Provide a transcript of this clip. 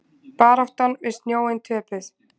Baráttan við snjóinn töpuð